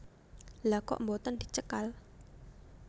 Lha kok boten dicekal